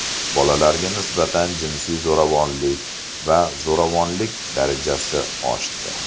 Bolalarga nisbatan jinsiy zo‘ravonlik va zo‘ravonlik darajasi oshdi.